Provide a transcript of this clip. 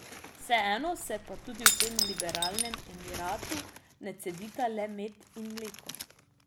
Vseeno se pa tudi v tem liberalnem emiratu ne cedita le med in mleko.